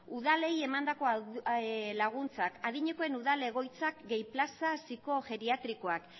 udalei emandako laguntzak adinekoen udal egoitzak gehi plaza psikojeriatrikoak